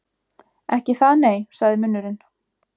Ekki það, nei, sagði munnurinn.